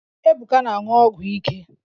Ebuka na-aṅụ ọgwụ ike